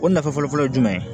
O nafa fɔlɔfɔlɔ ye jumɛn ye